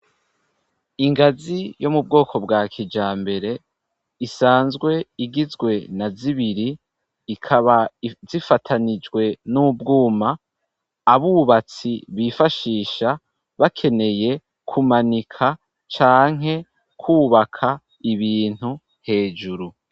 Ingazi yo mu bwoko bwa kijambere isanzwe igizwe na zibiri ikaba zifatanijwe n'ubwuma abubatsi bifashisha bakeneye kumanika canke kubaka ibintu hejuru.